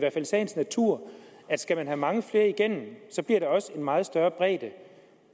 sagens natur at skal man have mange flere igennem bliver der også en meget større bredde